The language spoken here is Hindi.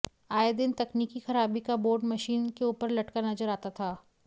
आए दिन तकनीकी खराबी का बोर्ड मशीन के ऊपर लटका नजर आता था